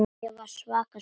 Ég var svaka týpa.